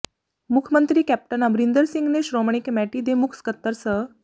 ਮੁੱਖ ਮੰਤਰੀ ਕੈਪਟਨ ਅਮਰਿੰਦਰ ਸਿੰਘ ਨੇ ਸ਼੍ਰੋਮਣੀ ਕਮੇਟੀ ਦੇ ਮੁੱਖ ਸਕੱਤਰ ਸ